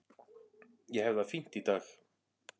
Ég hef það fínt í dag.